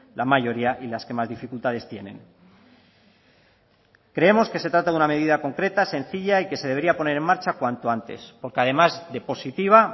la mayoría y las que más dificultades tienen creemos que se trata de una medida concreta sencilla y que se debería poner en marcha cuanto antes porque además de positiva